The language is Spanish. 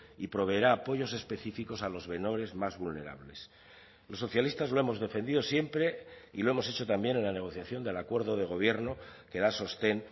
y proveerá apoyos específicos a los menores más vulnerables los socialistas lo hemos defendido siempre y lo hemos hecho también en la negociación del acuerdo de gobierno que da sostén